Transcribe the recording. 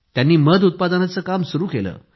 त्यांनी मध उत्पादनाचे काम सुरु केले